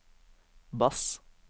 bass